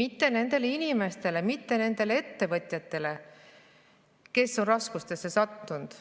mitte nendele inimestele, nendele ettevõtjatele, kes on raskustesse sattunud.